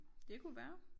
Det kunne være